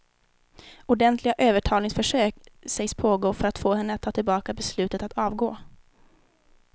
Ordentliga övertalningsförsök sägs pågå för att få henne att ta tillbaka beslutet att avgå.